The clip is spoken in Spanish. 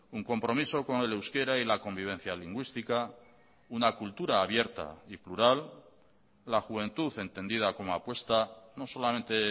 un compromiso con el euskera y la convivencia lingüística una cultura abierta y plural la juventud entendida como apuesta no solamente